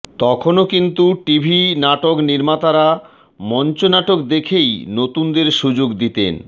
তখনো কিন্তু টিভি নাটক নির্মাতারা মঞ্চনাটক দেখেই নতুনদের সুযোগ দিতেন